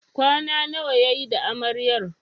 Kwana nawa yayi da Amaryar?